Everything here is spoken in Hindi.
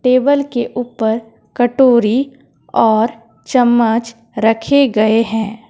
टेबल के ऊपर कटोरी और चम्मच रखे गए हैं।